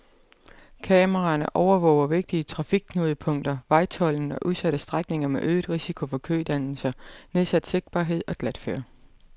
Kameraerne overvåger vigtige trafikknudepunkter, vejtolden og udsatte strækninger med øget risiko for kødannelser, nedsat sigtbarhed og glatføre.